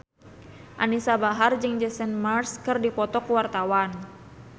Anisa Bahar jeung Jason Mraz keur dipoto ku wartawan